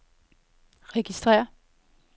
registrér